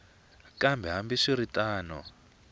kambe hambi swi ri tano